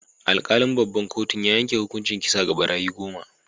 Alkalin babban kotun ya yanke hukuncin kisa ga barayi goma.